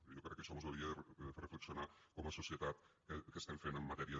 i jo crec que això mos hauria de fer reflexionar com a societat què estem fent en matèria de